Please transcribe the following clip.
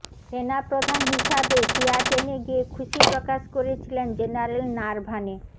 সেনাপ্রধান হিসাবে সিয়াচেনে গিয়ে খুশি প্রকাশ করেছিলেন জেনারেল নারভানে